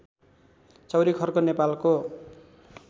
चौरीखर्क नेपालको